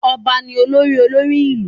Ọba ni olórí olórí ìlú